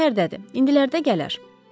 Şəhərdədi, indilərdə gələr.